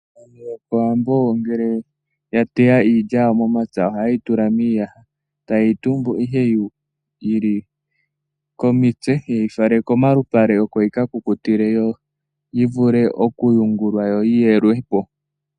Aantu yokOwambo ngele ya teya iilya yawo momapya ,ohaye yi tula miiyaha taye yi tumbu ihe yi li komitse, ye yi fale komalupale oko yi ka kukutile yo yi vule okuyungulwa yo yi yelwe po.